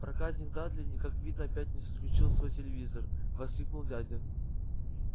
проказник дадли как видно опять не выключил свой телевизор воскликнул дядя